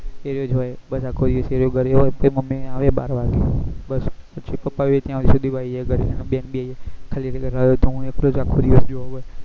એરેયો જ હોય બધા કોઈં એર્યો ઘરે હોય તો મમી આવે બાર વાગે બસ પછી પપા બી ત્યાં સુધી માં આવી જાય ઘરે અને બેન બી આવી જાય ખાલી રહ્યો તો હું આખો દિવસ ગયો જયો હોય